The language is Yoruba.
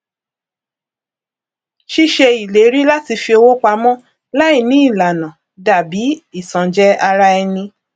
ṣíṣe ìléri láti fi owó pamọ láì ní ìlànà dàbí ìtanjẹ ara ẹni